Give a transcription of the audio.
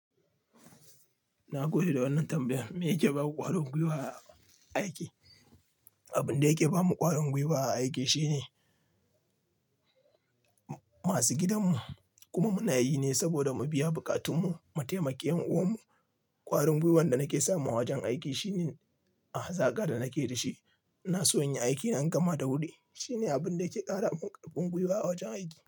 Na gode da wannan tambayar. Me yake ba ku ƙwarin gwiwa a aiki? Abin da yake ba mu ƙwarin gwiwa a aiki shine masu gidan mu kuma munayi ne saboda mu biya buƙatu mu, mataimaki yan'uwan mu. Ƙwarin gwiwan da nake samu a wajen aiki shine a hazaka da nake da shi. Na so yin aiki na gama da wuri. Shi ne abin da yake ƙara mun ƙarfin gwiwa a wajen aiki.